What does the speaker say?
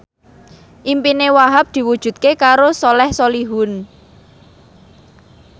impine Wahhab diwujudke karo Soleh Solihun